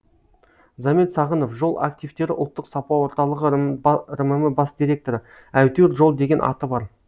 замир сағынов жол активтері ұлттық сапа орталығы рмм бас директоры әйтеуір жол деген аты бар